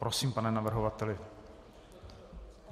Prosím, pane navrhovateli.